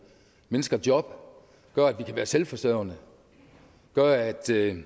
mennesker job gør at vi kan være selvforsørgende gør at